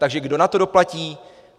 Takže kdo na to doplatí?